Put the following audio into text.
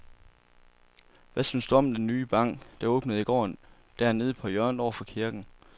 Hvad synes du om den nye bank, der åbnede i går dernede på hjørnet over for kirken?